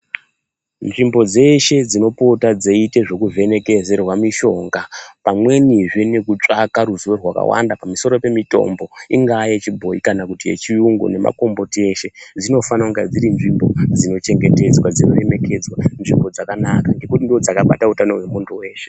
Nzvimbo dzeshe dzinopota dzeitwa zvekuvhenekerwa mishonga pamweni zve nekutsvaka ruziwo rwakawanda pamusoro pemitombo ingava yechibhoyi kana kuti yechiyungu nemakomboti eshe dzinofana kunge dziri nzvimbo dzinochengetwa .